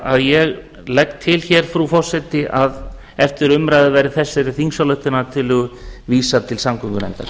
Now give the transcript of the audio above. að ég legg til hér frú forseti að eftir umræðu verði þessari þingsályktunartillögu vísað til samgöngunefndar